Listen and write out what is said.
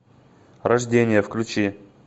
рождение включи